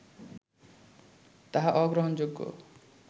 তাহা অগ্রহণযোগ্য